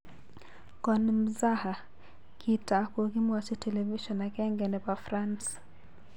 Konmzaha .Kita kokimwachi television agenge nepo France